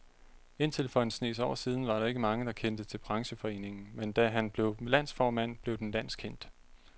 Indtil for en snes år siden var der ikke mange, der kendte til brancheforeningen, men da han blev landsformand, blev den landskendt.